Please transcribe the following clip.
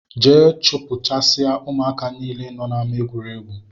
Jee chuputasia ụmụaka niile nọ n'ama egwuregwu!!!